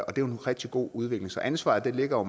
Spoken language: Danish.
og det er en rigtig god udvikling så ansvaret ligger